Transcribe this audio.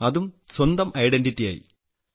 അതും സ്വന്തം ഐഡന്റിറ്റിയായി